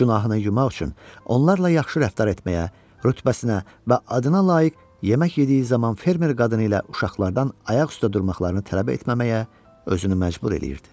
Günahını yumaq üçün onlarla yaxşı rəftar etməyə, rütbəsinə və adına layiq yemək yediyi zaman fermer qadını ilə uşaqlardan ayaq üstə durmaqlarını tələb etməməyə özünü məcbur eləyirdi.